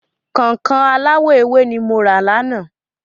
Kọ̀nkọ̀n aláwọ̀ ewé ni mo rà lánàá.